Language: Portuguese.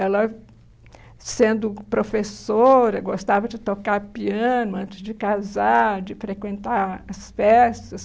Ela, sendo professora, gostava de tocar piano antes de casar, de frequentar as festas.